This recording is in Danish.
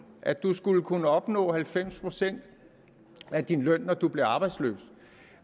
at man skulle kunne opnå halvfems procent af ens løn når man blev arbejdsløs